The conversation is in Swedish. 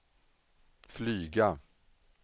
flyga